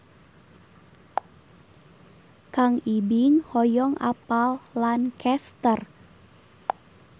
Kang Ibing hoyong apal Lancaster